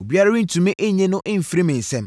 obiara rentumi nnye no mfiri me nsam.